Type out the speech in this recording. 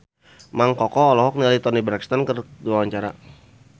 Mang Koko olohok ningali Toni Brexton keur diwawancara